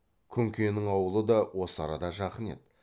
күнкенің аулы да осы арада жақын еді